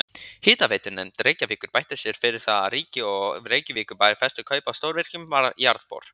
Hitaveitunefnd Reykjavíkur beitti sér fyrir því að ríki og Reykjavíkurbær festu kaup á stórvirkum jarðbor.